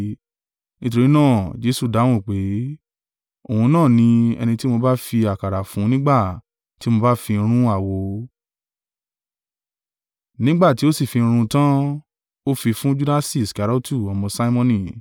Nítorí náà Jesu dáhùn pé, “Òun náà ni, ẹni tí mo bá fi àkàrà fún nígbà tí mo bá fi run àwo.” Nígbà tí ó sì fi run ún tan, ó fi fún Judasi Iskariotu ọmọ Simoni.